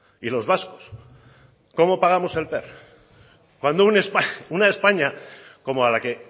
y los vascos cómo pagamos el per cuando una españa una españa como a la que